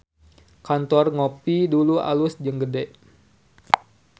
Kantor Ngopie Dulu alus jeung gede